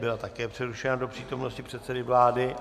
Byla také přerušena do přítomnosti předsedy vlády.